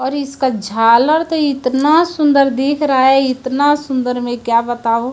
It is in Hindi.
और इसका झालर तो इतना सुंदर दिख रहा है इतना सुंदर में क्या बताऊं।